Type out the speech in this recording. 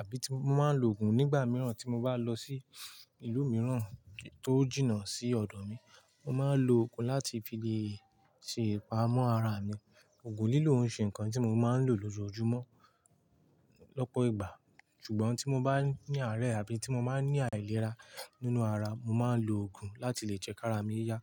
àbí tí mo máa ń lo ògùn nígbà mìíràn tí mo bá lọ sí ìlú mìíràn tó jìnnà sí ọ̀dọ̀ mi. Mo máa ń lo ògùn láti fi lè ṣe ìpamọ́ ara mi. Ògùn lílò oríṣi nǹkan tí mo máa ń lò lójoojúmọ́ lọ́pọ̀ ìgbà, ṣùgbọ́n tí mo bá ní àárẹ̀ àbí tí mo máa ń ní àìlera nínú ara, mo máa ń lo ògùn láti lè jẹ́ kí ara mi yá.